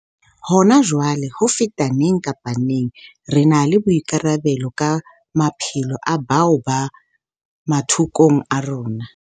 Hona jwale, ho feta neng kapa neng, re na le boikarabelo ka maphelo a bao ba mathokong a rona.